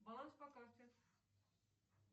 баланс по карте